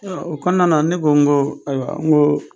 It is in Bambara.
O kɔnɔna ne ko n ko ayiwa n ko